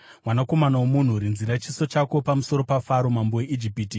“Mwanakomana womunhu, rinzira chiso chako pamusoro paFaro mambo weIjipiti.